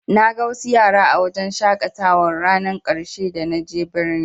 Naga wasu yara a wajen shaƙatawar rannar ƙarshe da na je birni.